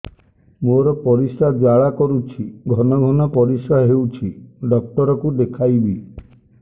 ମୋର ପରିଶ୍ରା ଜ୍ୱାଳା କରୁଛି ଘନ ଘନ ପରିଶ୍ରା ହେଉଛି ଡକ୍ଟର କୁ ଦେଖାଇବି